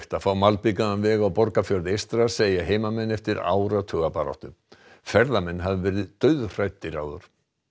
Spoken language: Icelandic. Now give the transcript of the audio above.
að fá malbikaðan veg á Borgarfjörð eystra segja heimamenn eftir áratuga baráttu ferðamenn hafi verið dauðhræddir áður